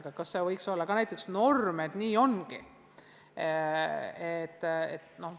Aga kas see võiks olla norm, et nii ongi?